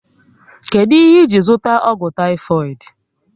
Kedụ ihe iji zụta ọgwụ taifoidu?